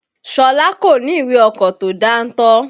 Ṣọlá kò ní ìwé ọkọ̀ tó dáńtọ́.